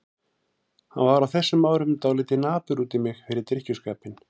Hann var á þessum árum dálítið napur út í mig fyrir drykkjuskapinn.